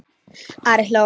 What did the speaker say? Ari hló.